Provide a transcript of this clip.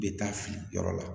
Bɛ taa fili yɔrɔ la